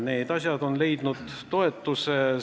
Need asjad on leidnud toetuse.